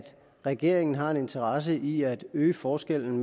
regeringen har en interesse i at øge forskellen